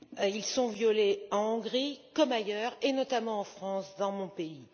Ils sont violés en Hongrie comme ailleurs, et notamment en France, mon pays.